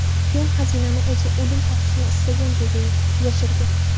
Fenn xazinani o‘zi o‘lim topishni istagan joyga yashirgan.